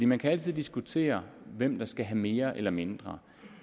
man kan altid diskutere hvem der skal have mere eller mindre